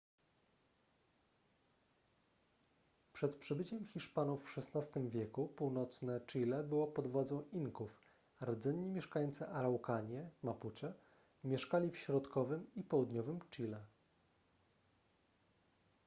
przed przybyciem hiszpanów w xvi w. północne chile było pod władz inków a rdzenni mieszkańcy araukanie mapuche mieszkali w środkowym i południowym chile